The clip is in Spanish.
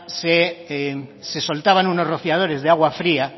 se soltaban unos rociadores de agua fría